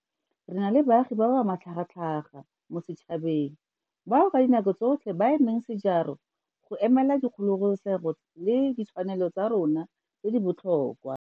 Re na le baagi ba ba matlhagatlhaga mo setšhabeng bao ka dinako tsotlhe ba emeng sejaro go emelela dikgololesego le ditshwanelo tsa rona tse di botlhokwa.